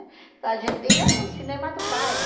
Então a gente ia no cinema do bairro.